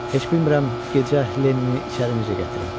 Heç bilmirəm gecə Lenini içəri necə gətirim.